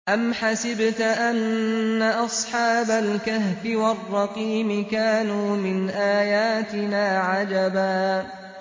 أَمْ حَسِبْتَ أَنَّ أَصْحَابَ الْكَهْفِ وَالرَّقِيمِ كَانُوا مِنْ آيَاتِنَا عَجَبًا